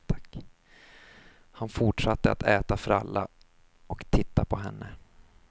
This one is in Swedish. Han fortsatte att äta fralla och titta på henne.